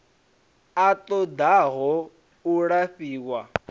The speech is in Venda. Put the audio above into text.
a ṱo ḓaho u lafhiwa